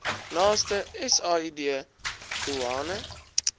naaste said doeane